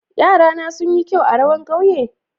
Yara'na sun yi kyau a rawan ƙauye?